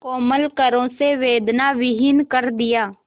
कोमल करों से वेदनाविहीन कर दिया